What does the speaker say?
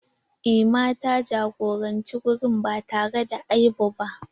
Emma ta jagoranci wurin ba tare da aibu ba.